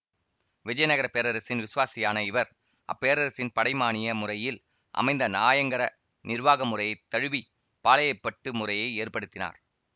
விஜயநகரப் பேரரசின் விசுவாசியான இவர் அப்பேரரசின் படை மானிய முறையில் அமைந்த நாயங்கர நிர்வாக முறையை தழுவி பாளையப்பட்டு முறையை ஏற்படுத்தினார்